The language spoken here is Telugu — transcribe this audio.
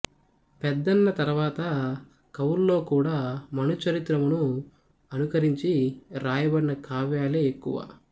పెద్దన తర్వాత కవుల్లో కూడా మనుచరిత్రమును అనుకరించి రాయబడిన కావ్యాలే ఎక్కువ